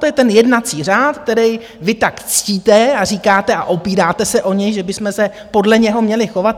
To je ten jednací řád, který vy tak ctíte a říkáte a opíráte se o něj, že bychom se podle něho měli chovat.